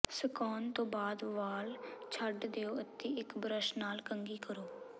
ਸੁਕਾਉਣ ਤੋਂ ਬਾਅਦ ਵਾਲ ਛੱਡ ਦਿਓ ਅਤੇ ਇੱਕ ਬਰੱਸ਼ ਨਾਲ ਕੰਘੀ ਕਰੋ